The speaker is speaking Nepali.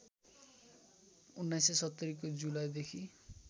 १९७० को जुलाईदेखि